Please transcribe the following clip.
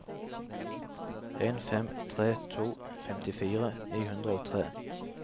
en fem tre to femtifire ni hundre og tre